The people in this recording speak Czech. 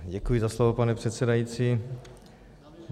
Děkuji za slovo, pane předsedající.